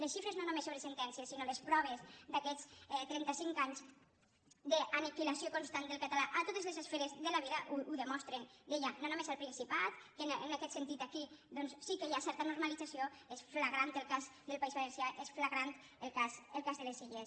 les xifres no només sobre sentències sinó les proves d’aquests trenta·cinc anys d’aniquilació constant del català a to·tes les esferes de la vida ho demostren deia no només al principat que en aquest sentit aquí doncs sí que hi ha certa normalització és flagrant el cas del país va·lencià és flagrant el cas de les illes